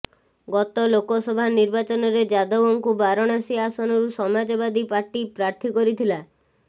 ଗତ ଲୋକସଭା ନିର୍ବାଚନରେ ଯାଦବଙ୍କୁ ବାରଣାସୀ ଆସନରୁ ସମାଜବାଦୀ ପାର୍ଟି ପ୍ରାର୍ଥୀ କରିଥିଲା